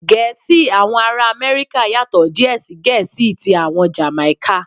Gẹ̀ẹ́sì àwọn ará Amẹ́ríkà yàtò díè sí Gẹ̀ẹ́sì tí àwọn Jàmáíkà.